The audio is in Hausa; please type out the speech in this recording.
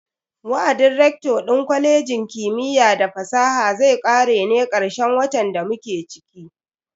Wa'adin rector din kwalejin kimiyya da fasaha zai kare ne karshen watan da muke ciki.